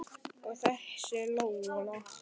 Og þessi Lola.